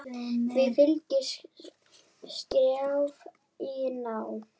Því fylgdi skrjáf í ná